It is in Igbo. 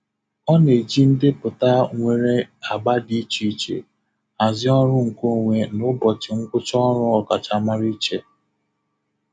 Ọ na-eji ndepụta nwere agba dị iche iche hazie ọrụ nkeonwe na ụbọchị ngwụcha ọrụ ọkachamara iche.